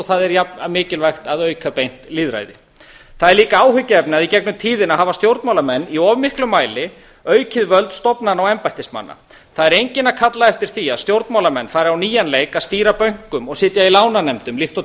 það er jafn mikilvægt að auka beint lýðræði það er líka áhyggjuefni að í gegnum tíðina hafa stjórnmálamenn í auknum mæli aukið völd stofnana og embættismanna það er enginn að kalla eftir því að stjórnmálamenn fari á nýjan leik að stýra bönkum og sitja í lánanefndum líkt og